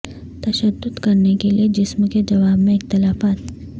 تشدد کرنے کے لئے جسم کے جواب میں اختلافات